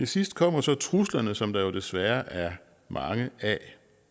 sidst kommer så truslerne som der jo desværre er mange af